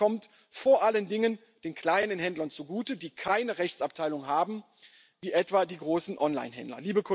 Und das kommt vor allen Dingen den kleinen Händlern zugute, die keine Rechtsabteilung haben wie etwa die großen Onlinehändler.